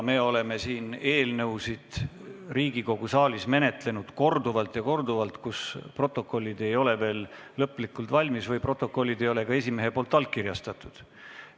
Me oleme siin Riigikogu saalis menetlenud eelnõusid korduvalt ka nii, et protokollid ei ole veel lõplikult valmis või ei ole esimees neid allkirjastanud.